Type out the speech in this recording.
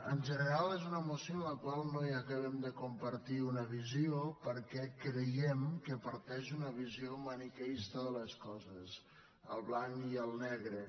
en general és una moció amb la qual no acabem de compartir una visió perquè creiem que parteix d’una visió maniqueista de les coses el blanc i el negre